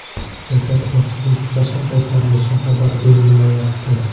Jasad Rossiyaga qachon qaytarilishi xabar berilmayapti.